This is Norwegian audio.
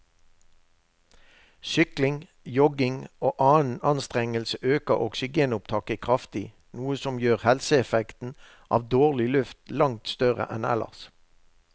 Sykling, jogging og annen anstrengelse øker oksygenopptaket kraftig, noe som gjør helseeffekten av dårlig luft langt større enn ellers.